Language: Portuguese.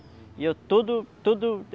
E eu todo todo